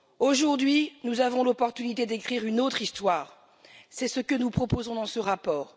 Aujourd'hui, nous avons l'occasion d'écrire une autre histoire, c'est ce que nous proposons dans ce rapport.